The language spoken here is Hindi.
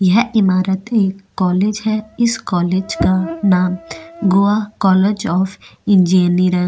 यह इमारते कॉलेज है इस कॉलेज का नाम गोवा कॉलेज ऑफ़ इंजीनिर --